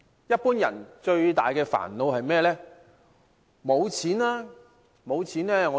一般人最大的煩惱是甚麼呢？